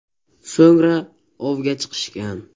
So‘ngra “ov”ga chiqishgan.